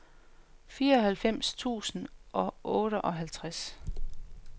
fireoghalvfems tusind og otteoghalvtreds